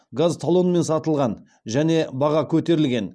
газ талонмен сатылған және баға көтерілген